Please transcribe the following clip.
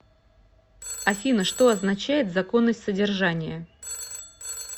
афина что означает законность содержания